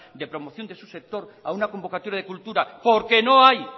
de promoción de su sector a una convocatoria de cultura porque no hay